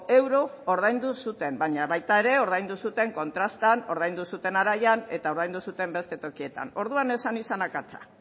euro ordaindu zuten baina baita ere ordaindu zuten kontrastan ordaindu zuten araian eta ordaindu zuten beste tokietan orduan ez zen izan akatsa